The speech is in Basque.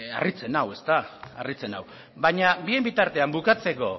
harritzen nau baina bien bitartean bukatzeko